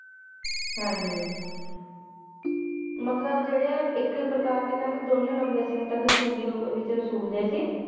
ਹਾਂਜੀ ਮਤਲਬ ਜਿਹੜ੍ਹੇ ਇਕ ਹੀ ਪ੍ਕਾ੍ਰ ਦੇ ਕਹਿੰਦੇ ਦੋਵੇ ਲਾਉਦੇ ਸੈਮ ਟੈਕਸ ਚੂੰਗੀ ਰੁਪ ਵਿਚ ਵਸੂਲਦੇ ਸੀ